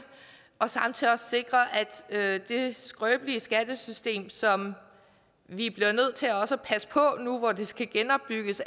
og samtidig sikre at det skrøbelige skattesystem som vi også nu hvor det skal genopbygges